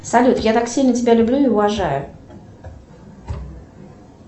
салют я так сильно тебя люблю и уважаю